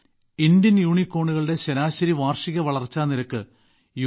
Indian യൂണികോണുകളുടെ ശരാശരി വാർഷിക വളർച്ചാ നിരക്ക് യു